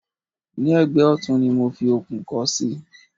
ní ẹ̀gbẹ́ ọ̀tún ni mo fi okùn kọ́ sí